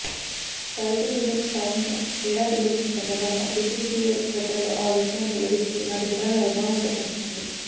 చారిత్రక విజయం సాధించిన ఏడాది గడిచిన సందర్భంగా బీసీసీఐ ట్విటర్లో ఆ విషయాన్ని వెల్లడిస్తూ నాటి ఫొటోలను అభిమానులతో పంచుకొంది